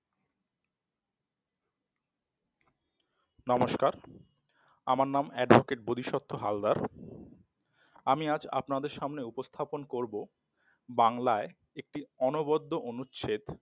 নমস্কার আমার নাম advocate বোধিসত্ত্ব হালদার আমি আজ আপনাদের সামনে উপস্থাপন করব বাংলায় একটি অনবদ্য অনুচ্ছেদ